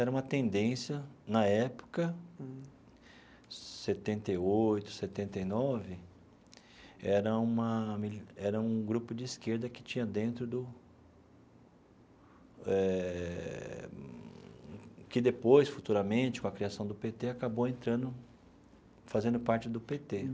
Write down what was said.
era uma tendência, na época, setenta e oito, setenta e nove, era uma mili era um grupo de esquerda que tinha dentro do eh.. que depois, futuramente, com a criação do pê tê, acabou entrando, fazendo parte do pê tê.